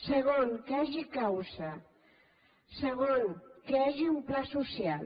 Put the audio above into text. segon que hi hagi causa segon que hi hagi un pla social